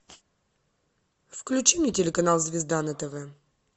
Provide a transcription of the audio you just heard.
включи мне телеканал звезда на тв